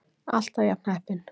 Alltaf jafn heppinn!